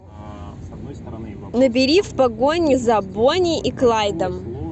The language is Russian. набери в погоне за бонни и клайдом